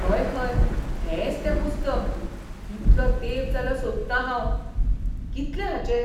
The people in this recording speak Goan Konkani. हय हय, हेंच तें पुस्तक! कितलो तेंप जालो सोदतां हांव. कितले हाचे?